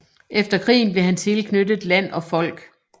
Efter krigen blev han tilknyttet Land og Folk